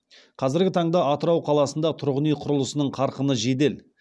қазіргі таңда атырау қаласында тұрғын үй құрылысының қарқыны жедел